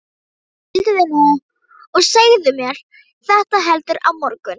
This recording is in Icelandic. Hvíldu þig nú og segðu mér þetta heldur á morgun.